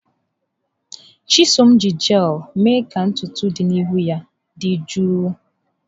Chisom ji jel mee ka ntutu dị n'ihu ya dị jụụ.